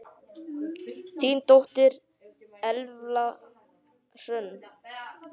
Þín dóttir, Elfa Hrönn.